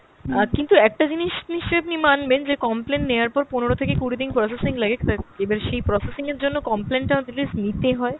অ্যাঁ কিন্তু একটা জিনিস নিশ্চয় আপনি মানবেন যে complain নেওয়ার পর পনেরো থেকে কুড়ি দিন processing লাগে তা এবার সেই processing এর জন্য complain টা নিতে হয়।